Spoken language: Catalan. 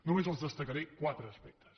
només els en destacaré quatre aspectes